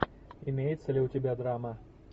имеется ли у тебя драма